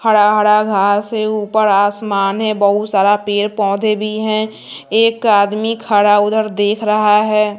हरा हरा घास है ऊपर आसमान है बहुत सारा पेड़ पौधे भी हैं एक आदमी खड़ा उधर देख रहा है।